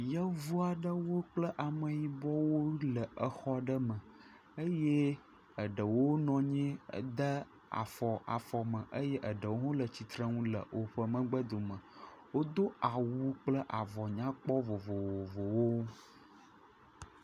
Yevu aɖewo kple ameyibɔwo le exɔ aɖe me eye eɖewo nɔ anyi ede afɔ afɔ me eye eɖewo hã le tsitrenu e woƒe megbe dome. Wodo awu kple avɔ nyakpɔ vovovowo.